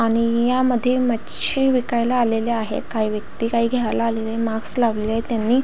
आणि यामध्ये मच्छी विकायला आलेले आहे काही व्यक्ति काही घ्याल आलेले आहे मास्क लावलेले आहे त्यांनी.